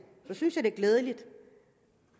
synes jeg det er glædeligt